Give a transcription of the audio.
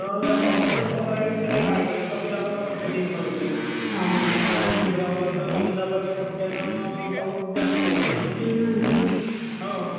हवामानच तसं राहिलं त्याला काय करेल? कमी दाबाचा पट्टा निर्माण होते ना. समुद्रावर कमी दाबाच्या पट्ट्याने पाऊस जास्त होते.